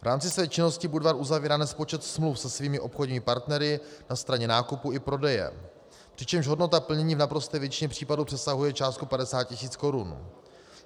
V rámci své činnosti Budvar uzavírá nespočet smluv se svými obchodními partnery na straně nákupu i prodeje, přičemž hodnota plnění v naprosté většině případů přesahuje částku 50 tisíc korun.